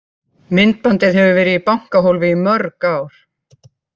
Myndbandið hefur verið í bankahólfi í mörg ár.